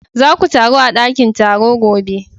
Za ku taru a dakin taro gobe!